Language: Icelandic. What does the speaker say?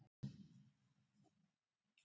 og með bókina!